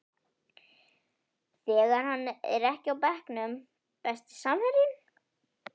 þegar hann er ekki á bekknum Besti samherjinn?